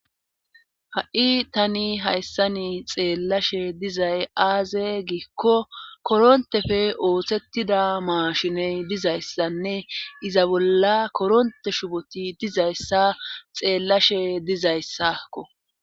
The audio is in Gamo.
ha7i tani hayssani xeellashe dizay aaze giikko korontefe oosettida maashiney dizayssanne iza bolla koronte shuboti dizayssa xeellashe dizayssakko